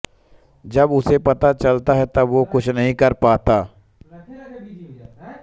जब उसे पता चलता है तब वो कुछ नहीं कर पाता है